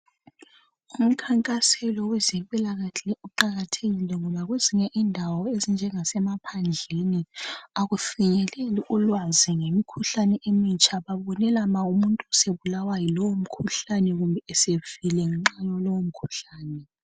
Umkhankaselo wezempila kahle uqakathekile ngoba kwezinye indawo ezinjenga semaphandleni akufinyeleli ulwazi ngemikhuhlane emitsha balulelema ma umuntu esebulawa yilowo mkhuhlane kumbe esefile ngalowo mkhuhlane